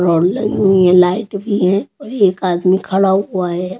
Rod लगा हुआ है लाइट भी है और एक आदमी खड़ा हुआ है.